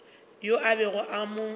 yoo a bego a mo